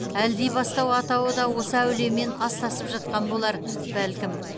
әлдибастау атауы да осы әулиемен астасып жатқан болар бәлкім